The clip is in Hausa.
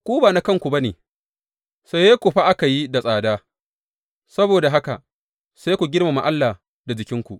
Ku ba na kanku ba ne; saye ku fa aka yi da tsada, saboda haka, sai ku girmama Allah da jikinku.